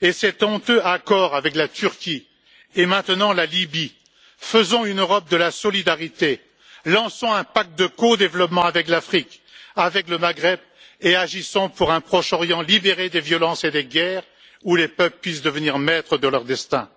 et ce honteux accord avec la Turquie, et maintenant la Libye, faisons une Europe de la solidarité, lançons un pacte de codéveloppement avec l'Afrique, avec le Maghreb et agissons pour un Proche Orient libéré des violences et des guerres, où les peuples puissent devenir maîtres de leur destin.